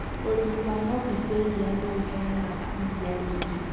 Ũrĩmi wa ng'ombe cia ĩrĩa nĩ ũheanaga ĩrĩa riĩngĩ.